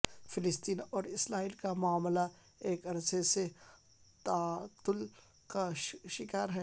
فلسطین اور اسرائیل کا معاملہ ایک عرصے سے تعطل کا شکار ہے